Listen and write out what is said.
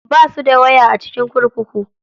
Basu da waya a cikin kurkuku.